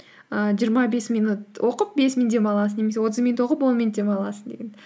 ііі жиырма бес минут оқып бес минут демаласың немесе отыз минут оқып он минут демаласың деген